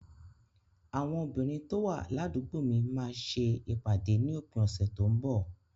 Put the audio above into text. Àwọn obìnrin tó wà ládùúgbò mi máa ń ṣe ìpàdé ní òpin ọ̀sẹ̀ tó ń bọ̀.